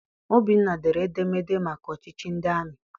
Obinna dere edemede maka ọchịchị ndị amị.